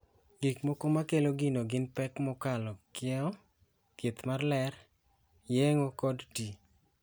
Gik moko ma kelo gino gin pek mokalo kiewo, thieth mar ler, yeng'o kod ti.